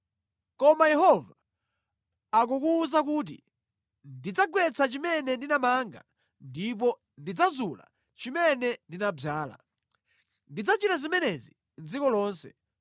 Koma Yehova akukuwuza kuti, “Ndidzagwetsa chimene ndinamanga ndipo ndidzazula chimene ndinadzala. Ndidzachita zimenezi mʼdziko lonse.